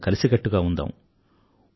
అందరం కలిసికట్టుగా ఉందాం